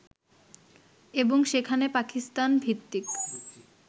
এবং সেখানে পাকিস্তান ভিত্তিক